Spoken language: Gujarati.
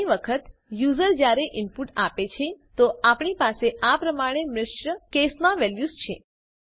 ઘણી વખત યુઝર જયારે ઇનપુટ આપે છે તો આપણી પાસે આ પ્રમાણે મિશ્ર કેસ માં વેલ્યુઝ છે